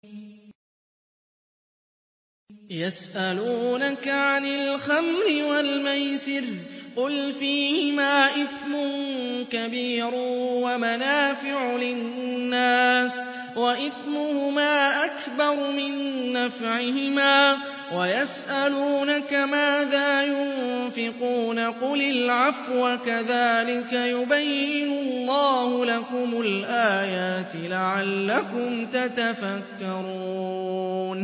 ۞ يَسْأَلُونَكَ عَنِ الْخَمْرِ وَالْمَيْسِرِ ۖ قُلْ فِيهِمَا إِثْمٌ كَبِيرٌ وَمَنَافِعُ لِلنَّاسِ وَإِثْمُهُمَا أَكْبَرُ مِن نَّفْعِهِمَا ۗ وَيَسْأَلُونَكَ مَاذَا يُنفِقُونَ قُلِ الْعَفْوَ ۗ كَذَٰلِكَ يُبَيِّنُ اللَّهُ لَكُمُ الْآيَاتِ لَعَلَّكُمْ تَتَفَكَّرُونَ